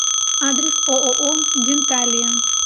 адрес ооо денталия